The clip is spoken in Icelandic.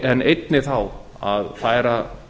en einnig þá að færa